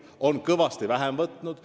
Ta on neid kõvasti vähem võtnud.